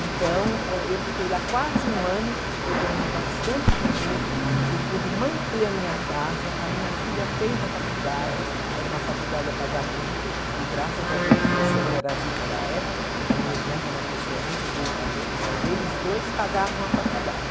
Então, eh, eu fiquei lá quase um ano, eu ganhei bastante dinheiro, eu pude manter a minha casa, a minha filha fez a faculdade, era uma faculdade a pagamento, e graças a Deus o meu sogro era vivo na época, a minha irmã, que é uma pessoa muito boa também, eles dois pagavam a faculdade.